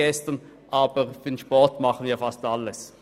Aber für den Sport tun wir fast alles.